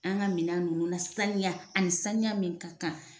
An ka minɛn ninnu nasaniya a ni saniya min ka kan.